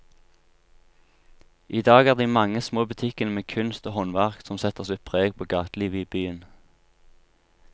I dag er det de mange små butikkene med kunst og håndverk som setter sitt preg på gatelivet i byen.